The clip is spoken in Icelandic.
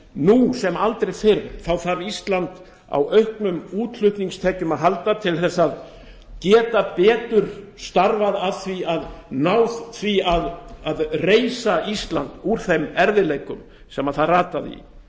nú sem aldrei fyrr þarf ísland á auknum útflutningstekjum að halda til að geta betur starfað að því að ná að reisa ísland úr þeim erfiðleikum sem það rataði í